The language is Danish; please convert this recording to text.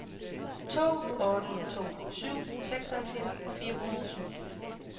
to otte to syv seksoghalvfjerds fire hundrede og syv